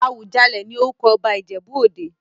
Awùjalẹ̀ ní orúkọ ọba Ìjẹ̀bú-òde.